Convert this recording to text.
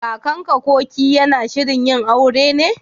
Kakanka/ki yana shirin yin aure ne?